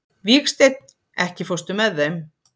Vígsteinn, ekki fórstu með þeim?